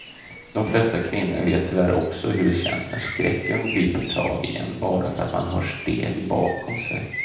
De flesta kvinnor vet tyvärr också hur det känns när skräcken griper tag i en bara för att man hör steg bakom sig.